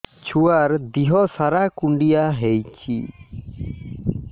ଛୁଆର୍ ଦିହ ସାରା କୁଣ୍ଡିଆ ହେଇଚି